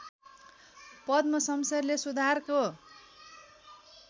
पद्म शमशेरले सुधारको